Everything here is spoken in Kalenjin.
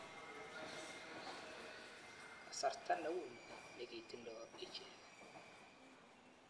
Kasarta ne u ni nekitindoi ichek.